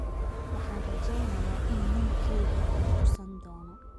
Waxaan rajeynayaa in ninkeyga uu bogsan doono